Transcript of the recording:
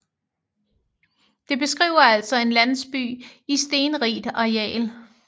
Det beskriver altså en landsby i stenrigt areal